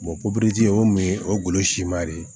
o mun ye o ye golo siman de ye